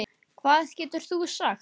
Hvað getur þú sagt?